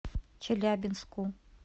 челябинску